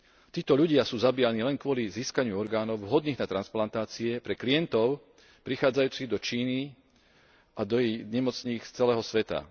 Títo ľudia sú zabíjaní len kvôli získaniu orgánov vhodných na transplantácie pre klientov prichádzajúcich do Číny a do ich nemocníc z celého sveta.